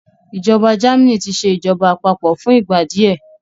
ìjọba Germany tí ṣe ìjọba àpapọ̀ fún ìgbà díẹ